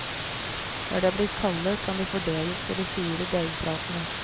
Når de er blitt kalde, kan de fordeles på de fire deigplatene.